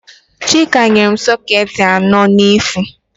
Chike nyere m sọketị anọ n'efu.